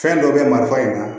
Fɛn dɔ bɛ marifa in na